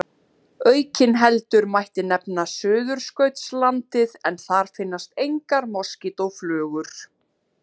Aukinheldur mætti nefna Suðurskautslandið en þar finnast engar moskítóflugur.